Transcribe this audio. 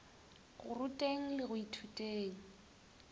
go ruteng le go ithuteng